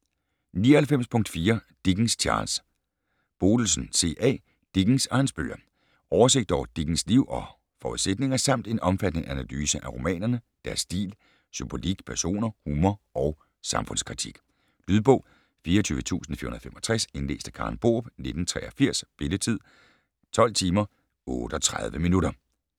99.4 Dickens, Charles Bodelsen, C. A.: Dickens og hans bøger Oversigt over Dickens liv og forudsætninger samt en omfattende analyse af romanerne, deres stil, symbolik, personer, humor og samfundskritik. Lydbog 24465 Indlæst af Karen Borup, 1983. Spilletid: 12 timer, 38 minutter